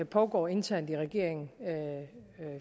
pågår internt i regeringen